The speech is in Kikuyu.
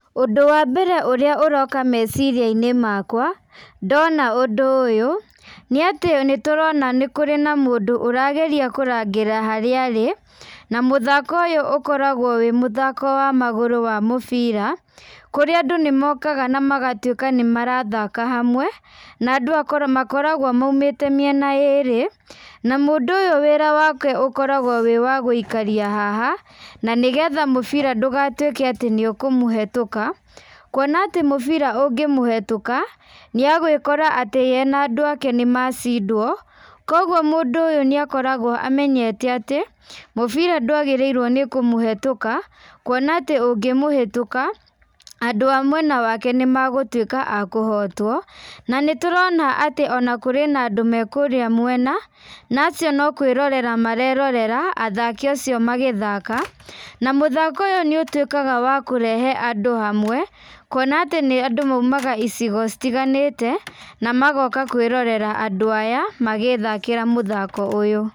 Ũndũ wa mbere ũrĩa ũroka meciria-inĩ makwa, ndona ũndũ ũyũ, nĩ atĩ nĩ tũrona nĩkũrĩ na mũndũ arageria kũrangĩra harĩa arĩ, na mũthako ũyũ ũkoragwo wĩ mũthako wa magũrũ wa mũbira, kũrĩa andũ nĩ mokaga na magatuĩka nĩ marathaka hamwe, na andũ makoragwo maumĩte mĩena yerĩ, na mũndũ wĩra wake ũkoragwo wĩ wa gũikaria haha, na nĩgetha mũbira ndugatuĩke atĩ nĩ ũkũmũhĩtũka, kuona atĩ mũbira ũngĩ mũhĩtũka, nĩ agwĩkora atĩ ye na andũ ake nĩmacindwo, kũguo mũndũ ũyũ nĩ akoragwo amenyete atĩ mũbira ndwagĩrĩiwo nĩ kũmũhĩtũka, kuona atĩ ũngĩmũhĩtũka andũ a mwena wake nĩ magũtuĩka akũhotwo, na nĩ tũrona atĩ nĩkũrĩ na andũ me kũrĩa mwena, na acio no kwĩrorera marerorera athaki acio magĩthaka, na mũthako ũyũ nĩ ũtuĩkaga wa kũrehe andũ hamwe, kuona atĩ andũ maũmaga icigo citiganĩte, na magoka kwĩrorera andũ aya magĩthakĩra mũthako ũyũ.